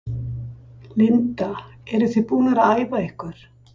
Linda: Eruð þið búnar að æfa ykkur?